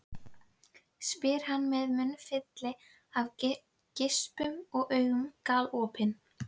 spyr hann með munnfylli af geispum en augun galopin.